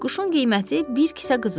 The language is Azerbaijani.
Quşun qiyməti bir kisə qızıldır.